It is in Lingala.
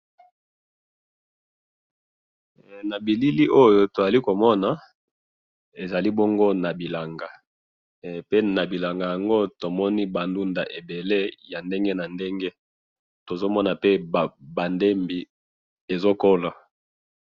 he na bilili oyo tozali komona ezali bongo na bilanga he pe na bilanga yango tomoni ba ndungda ya ndenge na ndenge tozomona pe ba ndembi ezokola.